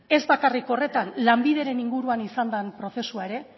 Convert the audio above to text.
ez bakarrik horretan lanbideren inguruan izan den prozesua ere